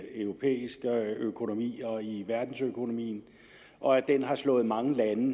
europæiske økonomier og i verdensøkonomien og at den har slået mange lande